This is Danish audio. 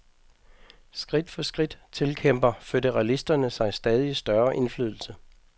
Skridt for skridt tilkæmper føderalisterne sig stadig større indflydelse.